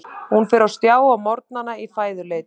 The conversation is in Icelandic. Hún fer á stjá á morgnana í fæðuleit.